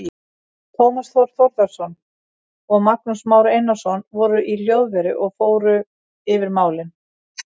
Tómas Þór Þórðarson og Magnús Már Einarsson voru í hljóðveri og fór yfir málin.